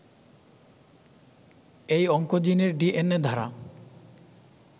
এই অংকোজিনের ডিএনএ ধারা